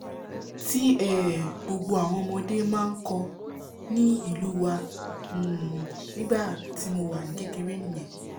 tí um gbogbo àwọn ọmọdé máa nkọ ní ìlú wa um nígbàtí mo wà ní kékeré nìyẹn